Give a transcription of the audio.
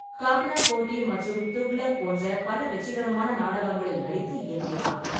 ககானா கோட் மற்றும் துக்ளக் போன்ற பல வெற்றிகரமான நாடகங்களில் நடித்து இயக்கினார்.